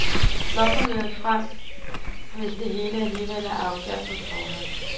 Hvorfor møde frem, hvis det hele alligevel er afgjort på forhånd?